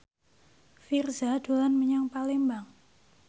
Virzha dolan menyang Palembang